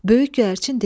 Böyük göyərçin dedi: